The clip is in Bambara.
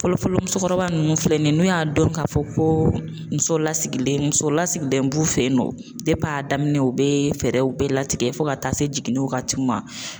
Fɔlɔfɔlɔ musokɔrɔba nunnu filɛ nin ye n'u y'a dɔn k'a fɔ ko muso lasigilen muso lasigilen b'u fe yen nɔ dep'a daminɛ u bee fɛɛrɛw bɛɛ latigɛ fɔ ka taa se jiginni wagatiw ma